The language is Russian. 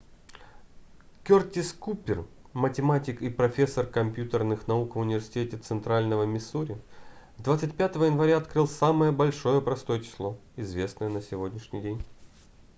кёртис купер математик и профессор компьютерных наук в университете центрального миссури 25 января открыл самое большое простое число известное на сегодняшний день